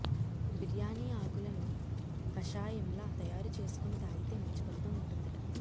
బిర్యానీ ఆకులను కాషాయంలా తయారు చేసుకుని తాగితే మంచి ఫలితం ఉంటుందట